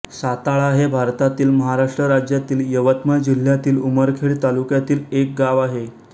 साताळा हे भारतातील महाराष्ट्र राज्यातील यवतमाळ जिल्ह्यातील उमरखेड तालुक्यातील एक गाव आहे